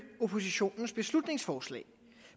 oppositionens beslutningsforslag